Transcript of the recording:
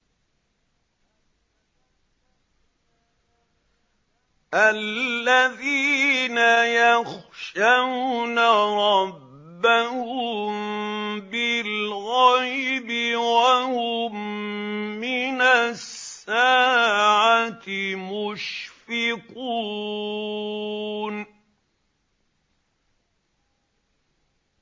الَّذِينَ يَخْشَوْنَ رَبَّهُم بِالْغَيْبِ وَهُم مِّنَ السَّاعَةِ مُشْفِقُونَ